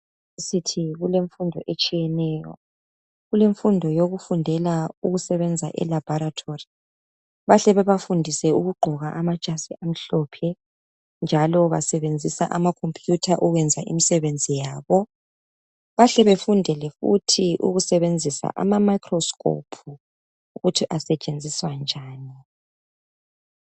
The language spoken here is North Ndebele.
sithi kulemfundo etshiyeneyo kulemfundo yokufundela ukusebenza e laboratory bahle babafundise ukugqoka amajazi amhlophe njalo absebenzisa ama computer ukwenza imisebenzi yabo bahle bafundele ukuthi ukusebenzisa ama microscope ukuthi asetshenziswa njani